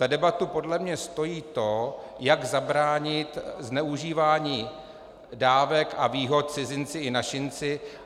Za debatu podle mě stojí to, jak zabránit zneužívání dávek a výhod cizinci i našinci.